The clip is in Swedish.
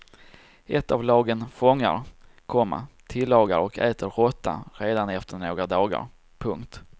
Ett av lagen fångar, komma tillagar och äter råtta redan efter några dagar. punkt